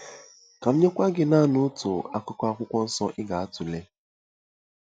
Ka m nyekwa gị naanị otu akụkụ Akwụkwọ Nsọ ị ga-atụle.